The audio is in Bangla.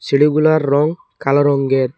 সিঁড়িগুলার রঙ কালো রঙ্গের ।